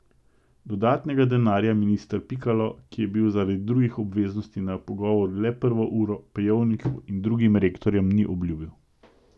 Dodatnega denarja minister Pikalo, ki je bil zaradi drugih obveznosti na pogovoru le prvo uro, Pejovniku in drugim rektorjem ni obljubil.